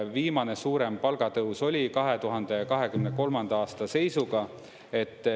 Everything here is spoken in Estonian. Viimane suurem palgatõus oli 2023. aasta seisuga.